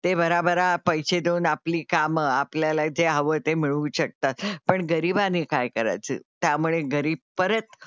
ते भराभरा पैसे देऊन आपली कामं आपल्याला जे हवं ते मिळवू शकतात, पण गरीबाने काय करायचे? त्यामुळे गरीब परत,